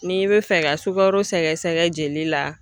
N'i bɛ fɛ ka sukaro sɛgɛsɛgɛ jeli la